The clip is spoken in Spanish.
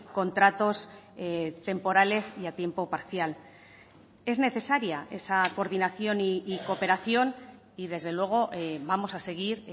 contratos temporales y a tiempo parcial es necesaria esa coordinación y cooperación y desde luego vamos a seguir